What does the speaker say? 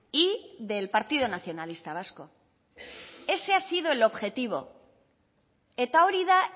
y del partido nacionalista vasco ese ha sido el objetivo eta hori da